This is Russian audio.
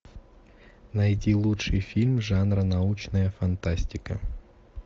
найти лучший фильм жанра научная фантастика